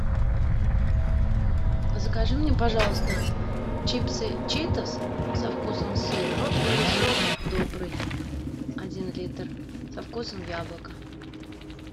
закажи мне пожалуйста чипсы читос со вкусом сыра и сок добрый один литр со вкусом яблока